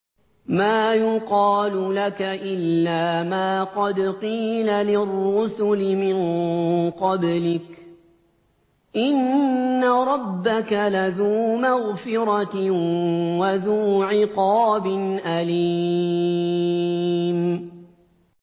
مَّا يُقَالُ لَكَ إِلَّا مَا قَدْ قِيلَ لِلرُّسُلِ مِن قَبْلِكَ ۚ إِنَّ رَبَّكَ لَذُو مَغْفِرَةٍ وَذُو عِقَابٍ أَلِيمٍ